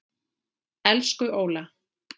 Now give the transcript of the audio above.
Elsku Óla.